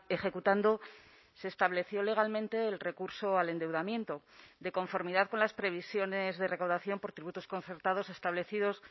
ejecutando se estableció legalmente el recurso al endeudamiento de conformidad con las previsiones de recaudación por tributos concertados establecidos